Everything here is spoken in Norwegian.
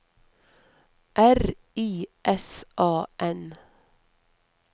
R I S A N